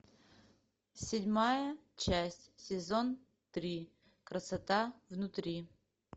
седьмая часть сезон три красота внутри